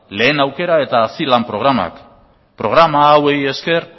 lehen aukera eta hazilan programak programa hauei esker